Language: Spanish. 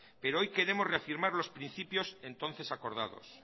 pero hoy queremos reafirmar los principios entonces acordados